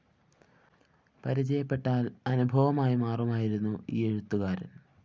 പരിചയപ്പെട്ടാല്‍ അനുഭവമായിമാറുമായിരുന്നു ഈ എഴുത്തുകാരന്‍